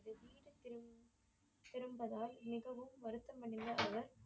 பிறந்ததால் மிகவும் வருத்தமடைந்த அவர்